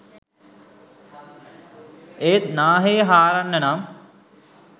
ඒත් නාහේ හාරන්න නම්